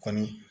Kɔni